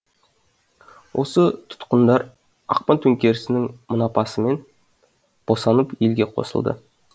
осы тұтқындар ақпан төңкерісінің мұнапасымен босанып елге қосылды